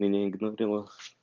меня игнорила